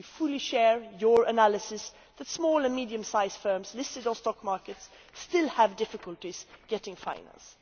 We fully share your analysis that small and medium sized firms listed on stock markets still have difficulties getting finance.